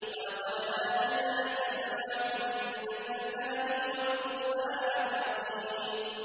وَلَقَدْ آتَيْنَاكَ سَبْعًا مِّنَ الْمَثَانِي وَالْقُرْآنَ الْعَظِيمَ